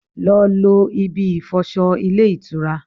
Lọ lo ibi ìfọsọ ilé ìtura!